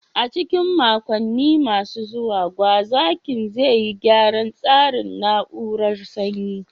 A cikin makonni masu zuwa, gwazakin zai yi gyaran tsarin na'urar sanyi.